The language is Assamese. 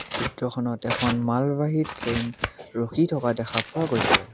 চিত্ৰখনত এখন মালবাহী ট্ৰেইন ৰখি থকা দেখা পোৱা গৈছে।